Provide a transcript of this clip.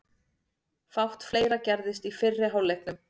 Fátt fleira gerðist í fyrri hálfleiknum.